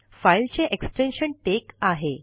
file चे extension टेक आहे